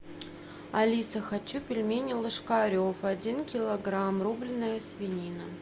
алиса хочу пельмени ложкарев один килограмм рубленная свинина